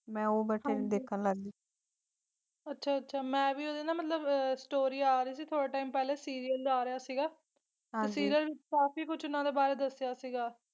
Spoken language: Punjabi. ਅੱਛਾ ਅੱਛਾ ਮੈਂ ਵੀ ਉਹਦੇ ਨਾ ਮਤਲਬ ਅਹ story ਆ ਰਹੀ ਸੀ ਥੋੜੇ time ਪਹਿਲਾ serial ਜਿਹਾ ਆ ਰਿਹਾ ਸੀਗਾ ਤੇ serial ਵਿੱਚ ਕਾਫੀ ਕੁਛ ਇਹਨਾਂ ਬਾਰੇ ਦੱਸਿਆ ਸੀਗਾ।